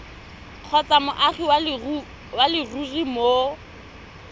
kgotsa moagi wa leruri mo